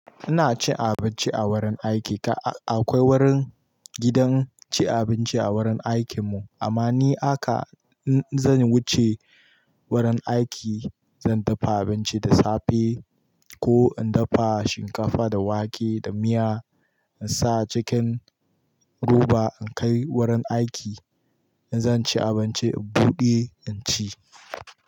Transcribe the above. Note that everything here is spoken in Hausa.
Ina cin abinci a wurin aiki. Ka-akwai wurin gidan ci abinci a wurin aikin mu amma ni haka in zan wuce wurin aiki zan dafa abinci da safe ko in dafa shinkafa da wake da miya in sa a cikin roba in kai wurin aiki. In zan ci abinci in buɗe in ci.